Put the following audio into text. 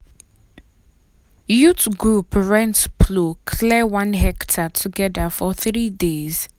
youth group rent plow clear one hectare together for three days.